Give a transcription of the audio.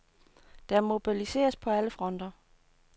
Der mobiliseres på alle fronter.